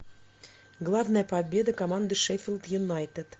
главная победа команды шеффилд юнайтед